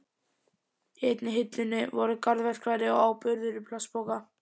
Í einni hillunni voru garðverkfæri og áburður í plastpoka.